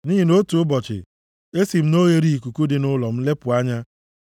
Nʼihi na otu ụbọchị, esi m na oghereikuku dị nʼụlọ m lepụ anya,